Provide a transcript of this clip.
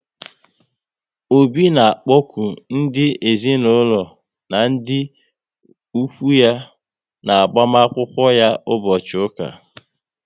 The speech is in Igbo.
Obi na akpoku ndị ezinaụlọ na ndị ụkwụ ya na agbamakwụkwọ ya ụbọchị ụka